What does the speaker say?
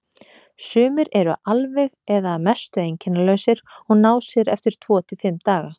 Sumir eru alveg eða að mestu einkennalausir og ná sér eftir tvo til fimm daga.